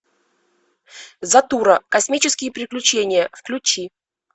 затура космические приключения включи